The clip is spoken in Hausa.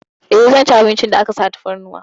Eh, zan ci abincin da aka sa tafarnuwa.